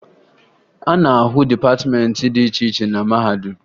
A na-ahụ dịpatịmeentị dị iche iche na mahadum